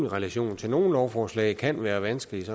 relation til nogle lovforslag kan være vanskeligt